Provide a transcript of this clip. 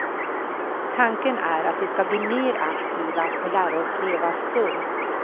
Tanken är att vi ska bli mer aktiva och lära oss leva sunt.